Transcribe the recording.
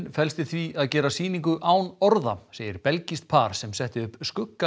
felst í því að gera sýningu án orða segir belgískt par sem setti upp